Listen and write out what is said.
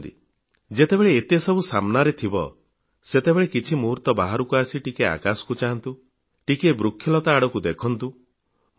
କେତେବେଳେ ଚିନ୍ତା କରିଛନ୍ତି ଯେତେବେଳେ ଏତେ ସବୁ ସାମନାରେ ଥିବ ସେତେବେଳେ କିଛି ମୁହୂର୍ତ୍ତ ବାହାରକୁ ଆସି ଟିକିଏ ଆକାଶକୁ ଚାହାଁନ୍ତୁ ଟିକିଏ ବୃକ୍ଷଲତା ଆଡକୁ ଦେଖନ୍ତୁ